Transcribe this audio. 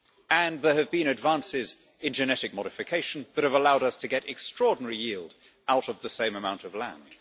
And there have been advances in genetic modification that have allowed us to get extraordinary yield out of the same amount of land.